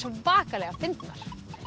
svakalega fyndnar